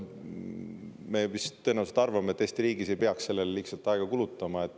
Me vist tõenäoliselt arvame, et Eesti riigis ei peaks sellele lihtsalt aega kulutama.